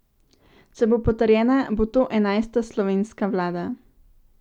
Če bo potrjena, bo to enajsta slovenska vlada.